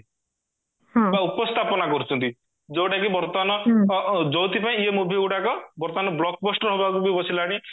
ବା ଉପସ୍ଥାପନା କରୁଚନ୍ତି ଯୋଉଟା କି ବର୍ତମାନ ଅ ଅ ଯୋଉଥିପାଇଁ ଏ movie ଗୁଡାକ ବର୍ତମାନ blockbuster ହବାକୁ ବି ବସିଲାଣି